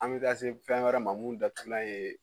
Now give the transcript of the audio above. An bɛ taa se fɛn wɛrɛ ma mun datugulan ye